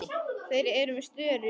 Þeir eru með störu.